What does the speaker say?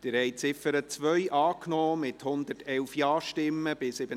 Sie haben die Ziffer 2 angenommen, mit 111 Ja- zu 37 Nein-Stimmen bei 1 Enthaltung.